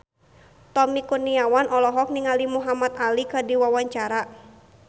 Tommy Kurniawan olohok ningali Muhamad Ali keur diwawancara